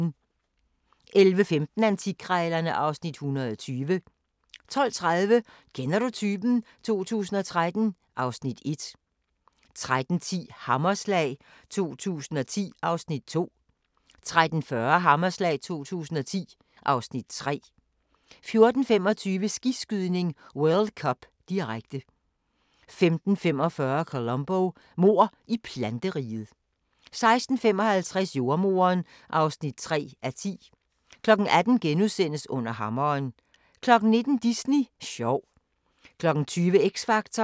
11:15: Antikkrejlerne (Afs. 120) 12:30: Kender du typen? 2013 (Afs. 1) 13:10: Hammerslag 2010 (Afs. 2) 13:40: Hammerslag 2010 (Afs. 3) 14:25: Skiskydning: World Cup, direkte 15:45: Columbo: Mord i planteriget 16:55: Jordemoderen (3:10) 18:00: Under hammeren * 19:00: Disney sjov 20:00: X Factor